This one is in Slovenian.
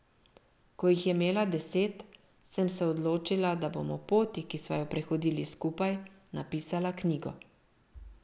Ko jih je imela deset, sem se odločila, da bom o poti, ki sva jo prehodili skupaj, napisala knjigo.